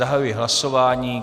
Zahajuji hlasování.